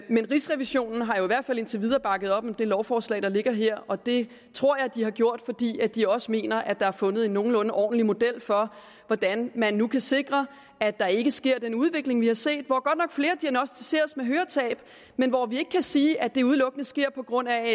rigsrevisionen har jo i hvert fald indtil videre bakket op om det lovforslag der ligger her og det tror jeg at de har gjort fordi de også mener at der er fundet en nogenlunde ordentlig model for hvordan man nu kan sikre at der ikke sker den udvikling vi har set hvor godt nok flere diagnosticeres med høretab men hvor vi ikke kan sige at det udelukkende sker på grund af